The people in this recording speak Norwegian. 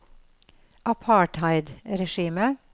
apartheidregimet